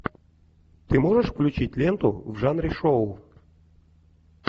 ты можешь включить ленту в жанре шоу